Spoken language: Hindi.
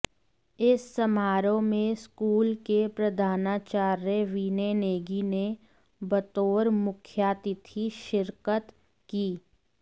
इस समारोह में स्कूल के प्रधानाचार्य विनय नेगी ने बतौर मुख्यातिथि शिरकत की